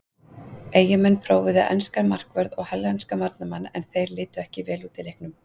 Eyjamenn prófuðu enskan markvörð og hollenskan varnarmann en þeir litu ekki vel út í leiknum.